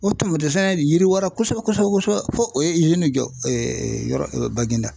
O tun min dɛsɛ de yiriwara kosɛbɛ kosɛbɛ, fo o ye nin jɔ yɔrɔ Baginda